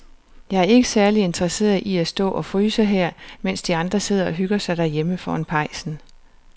Jeg er ikke særlig interesseret i at stå og fryse her, mens de andre sidder og hygger sig derhjemme foran pejsen.